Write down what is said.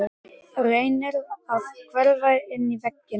Reynir að hverfa inn í vegginn.